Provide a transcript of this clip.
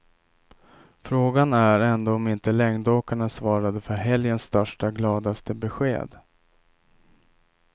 Frågan är ändå om inte längdåkarna svarade för helgens största gladaste besked.